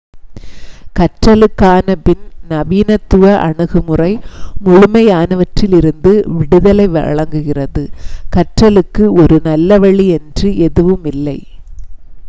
கற்றலுக்கான பின் நவீனத்துவ அணுகுமுறை முழுமையானவற்றிலிருந்து விடுதலை வழங்குகிறது கற்றலுக்கு ஒரு நல்ல வழி என்று எதுவுமில்லை